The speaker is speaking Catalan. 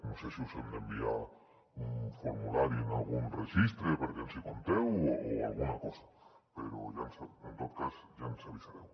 no sé si us hem d’enviar un formulari en algun registre perquè ens hi compteu o alguna cosa però en tot cas ja ens avisareu